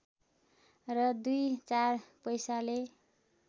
र दुई चार पैसाले